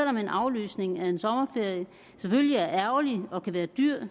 om en aflysning af en sommerferie selvfølgelig er ærgerlig og kan være dyr kan